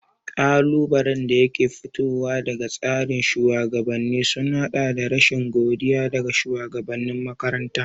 Ƙalubalen da ke fitowa daga tsarin shugabanni sun haɗa da rashin godiya daga shugabanin makaranta.